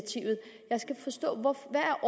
at